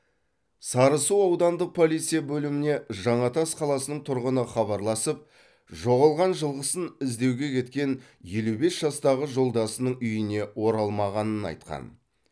сарысу аудандық полиция бөліміне жаңатас қаласының тұрғыны хабарласып жоғалған жылқысын іздеуге кеткен елу бес жастағы жолдасының үйіне оралмағанын айтқан